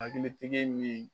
Hakili tigɛ nin